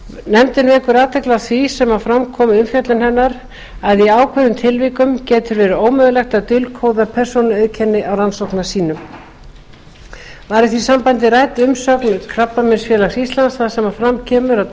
nefndin vekur athygli á því sem fram kom við umfjöllun hennar að í ákveðnum tilvikum getur verið ómögulegt að dulkóða persónuauðkenni á rannsóknarsýnum var í því sambandi rædd umsögn krabbameinsfélags íslands þar sem fram kemur að